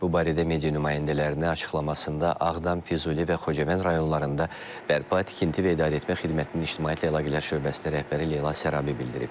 Bu barədə media nümayəndələrinə açıqlamasında Ağdam, Füzuli və Xocavənd rayonlarında bərpa, tikinti və idarəetmə xidmətinin ictimaiyyətlə əlaqələr şöbəsinin rəhbəri Leyla Sarabi bildirib.